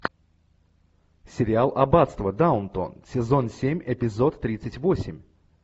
сериал аббатство даунтон сезон семь эпизод тридцать восемь